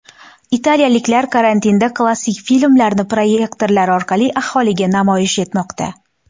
Italiyaliklar karantinda klassik filmlarni proyektorlar orqali aholiga namoyish etmoqda.